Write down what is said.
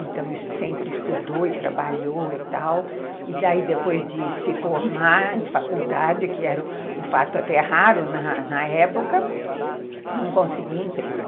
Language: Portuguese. então sempre estudou e trabalhou e tal, e daí depois de se formar em faculdade, que era um fato até raro na na época, não conseguia emprego.